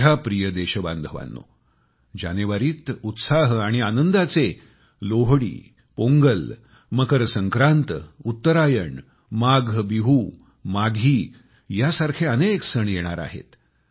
माझ्या प्रिय देशबांधवांनो जानेवारीत उत्साह आणि आनंदाचे लोहडी पोंगल मकर संक्रांत उत्तरायण माघ बिहू माघी यासारखे अनेक सण येणार आहेत